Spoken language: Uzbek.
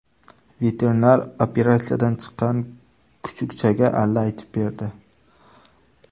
Veterinar operatsiyadan chiqqan kuchukchaga alla aytib berdi .